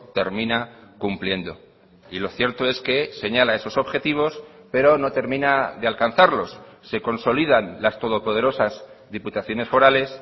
termina cumpliendo y lo cierto es que señala esos objetivos pero no termina de alcanzarlos se consolidan las todopoderosas diputaciones forales